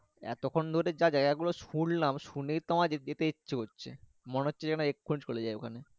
এত খান যে জায়গা গুলো সুনলাম শুনেতো আমের যেতে ইচ্ছে করছে মনে হচ্ছে যেন এখনই চলে যাই ওখানে।